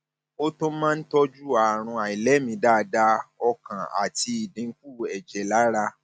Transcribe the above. ó tún máa ń tọjú àrùn àìlèmí dáadáa ọkàn àti ìdínkù ẹjẹ lára